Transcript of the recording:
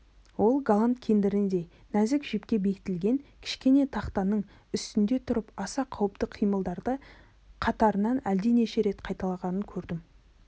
оның голланд кендіріндей нәзік жіпке бекітілген кішкене тақтаның үстінде тұрып аса қауіпті қимылдарды қатарынан әлденеше рет қайталағанын көргенім